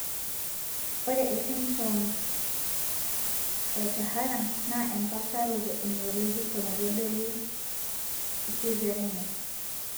Ore esindirom eohtahara naa empaasharoto eneurological naitodolu iseizureni.